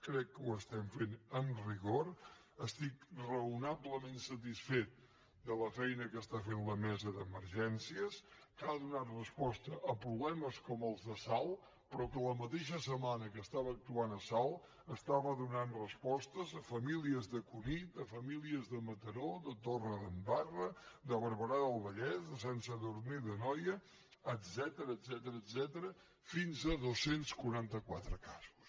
crec que ho estem fent amb rigor estic raonablement satisfet de la feina que està fent la mesa d’emergències que ha donat resposta a problemes com els de salt però que a la mateixa setmana que actuava a salt donava respostes a famílies de cunit a famílies de mataró de torredembarra de barberà del vallès de sant sadurní d’anoia etcètera fins a dos cents i quaranta quatre casos